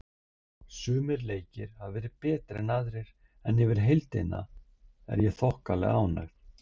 Sumir leikir hafa verið betri en aðrir en yfir heildina er ég bara þokkalega ánægð.